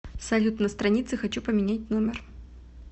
салют на странице хочу поменять номер